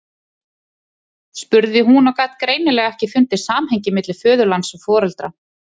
spurði hún og gat greinilega ekki fundið samhengið milli föðurlands og foreldra.